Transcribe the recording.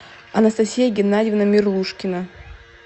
анастасия геннадьевна мерлушкина